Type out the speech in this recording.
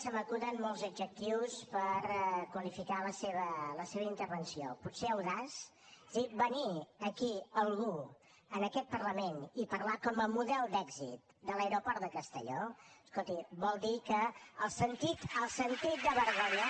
se m’acuden molts adjectius per qualificar la seva intervenció potser audaç és a dir venir aquí algú en aquest parlament i parlar com a model d’èxit de l’aeroport de castelló escolti vol dir que el sentit de vergonya